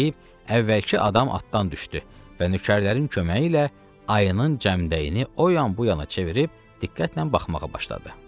Bunu deyib əvvəlki adam atdan düşdü və nökərlərin köməyi ilə ayının cəmdəyini o yan-bu yana çevirib diqqətlə baxmağa başladı.